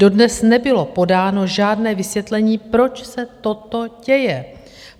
Dodnes nebylo podáno žádné vysvětlení, proč se toto děje.